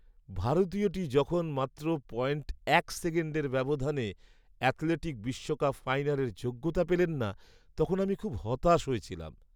ভারতীয়টি যখন মাত্র পয়েন্ট এক সেকেণ্ডের ব্যবধানে অ্যাথলেটিক বিশ্বকাপ ফাইনালের যোগ্যতা পেলেন না, তখন আমি খুব হতাশ হয়েছিলাম।